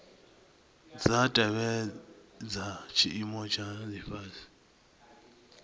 dza tevhedza tshiimo tsha lifhasi